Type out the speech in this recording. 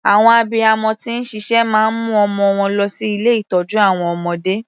Àwọn abiyamọ tí ń ṣiṣẹ́ máa ń mu ọmọ wọn lọ sí ilé ìtọ́jú àwọn ọmọdé.